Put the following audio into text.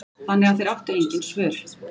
Þannig að þeir áttu engin svör.